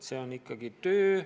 See on ikkagi töö.